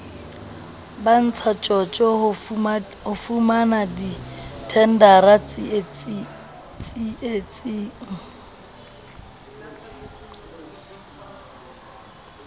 ba ntshatjotjo ho fumanadithendara tseitseng